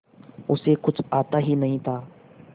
उसे कुछ आता ही नहीं था